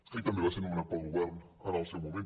i també va ser nomenat pel govern en el seu moment